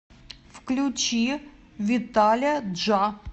включи виталя джа